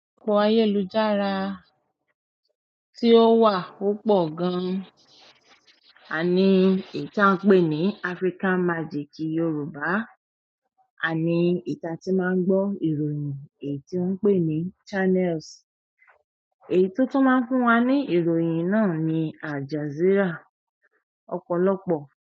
Òpo ayélujára tí ó wà púpọ̀ gan, àní eyì ta n pé ní African Magic Yoruba, àní eyì ta tí má ń gbọ́ ìròyìn èyí tí won n pè ní Channels, èyí tótun má ń fún wa ní ìròyìn náà ni Al Jazeera ọ̀pọ̀lọpọ̀.